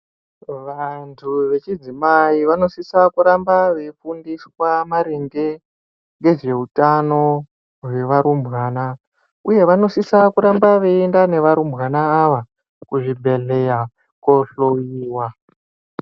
Vanthu vechidzimai vanosisa kuramba veifundiswa maringe ngezveuktano hwevarumbwana uye vanosisa kuramba veienda nevarumbwana ava kuzvibhedhelya kohloyiwa.